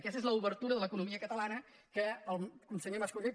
aquesta és l’obertura de l’economia catala·na del conseller mas·colell